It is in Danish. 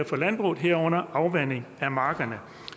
for landbruget herunder afvanding af markerne